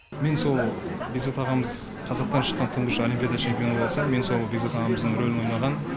мен сол бекзат ағамыз қазақтан шыққан тұңғыш олимпиада чемпионы болса мен сол бекзат ағамыздың ролін ойнаған